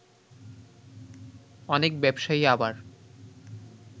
অনেক ব্যবসায়ী আবার